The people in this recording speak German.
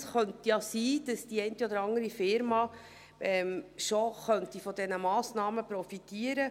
Es könnte sein, dass die eine oder andere Unternehmung bereits von diesen Massnahmen profitiert.